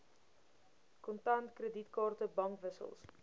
kontant kredietkaarte bankwissels